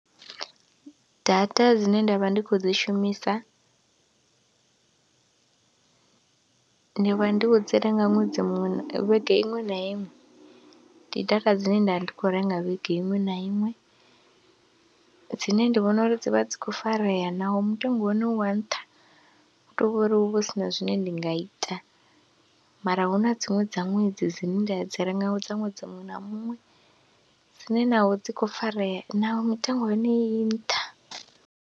Data dzine nda vha ndi khou dzi shumisa ndi vha ndi vha ndi khou dzi renga ṅwedzi muṅwe, vhege iṅwe na iṅwe. Ndi data dzine nda ndi khou renga vhege iṅwe na iṅwe dzine ndi vhona uri dzi vha dzi khou farea naho mutengo wa hone u wa nṱha, hu tou vha uri hu vha hu si na zwine ndi nga ita mara hu na dziṅwe dza ṅwedzi dzine nda dzi renga dza ṅwedzi muṅwe na muṅwe dzine naho dzi khou farea naho mitengo ya hone i nṱha.